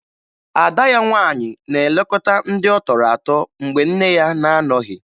Ada ya nwaanyị na-elekọta ndị ọ tọrọ atọ mgbe nne ya na-anọghị